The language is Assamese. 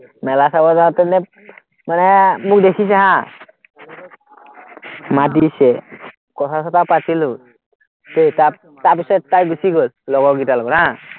মেলা চাব যাঁওতে নে মানে মোক দেখিছে হা, মাত দিছে, কথা-চথা পাতিলো, তেত তাৰ তাৰপিচত তাই গুছি গ'ল, লগৰ কিটাৰ লগত হা